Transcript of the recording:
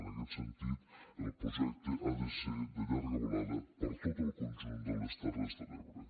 en aquest sentit el projecte ha de ser de llarga volada per a tot el conjunt de les terres de l’ebre